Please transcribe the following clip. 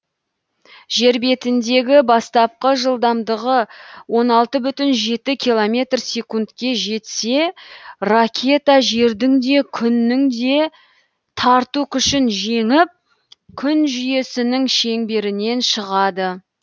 жер бетіндегі бастапқы жылдамдығы он алты бүтін жеті километр секундке жетсе ракета жердің де күннің де тарту күшін жеңіп күн жүйесінің шеңберінен шығады